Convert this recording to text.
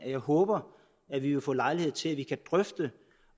jeg håber at vi vil få lejlighed til at drøfte